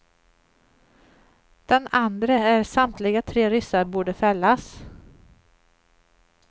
Den andre att samtliga tre ryssar borde fällas.